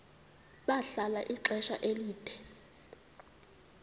bahlala ixesha elide